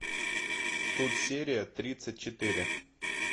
тут серия тридцать четыре